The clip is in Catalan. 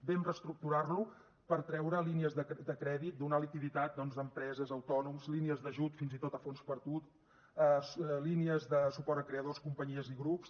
vam reestructurar lo per treure línies de crèdit donar liquiditat doncs a empreses a autònoms línies d’ajut fins i tot a fons perdut línies de suport a creadors companyies i grups